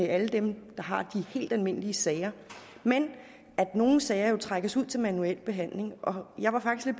alle dem der har de helt almindelige sager men at nogle sager jo trækkes ud til manuel behandling og jeg var faktisk